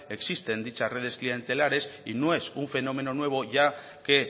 existen dichas redes clientelares y no es un fenómeno nuevo ya que